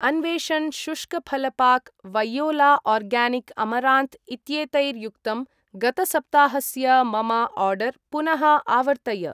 अन्वेशण् शुष्कफल पाक् , वैयोला आर्गानिक् अमरान्त् इत्येतैर्युक्तं गतसप्ताहस्य मम आर्डर् पुनः आवर्तय।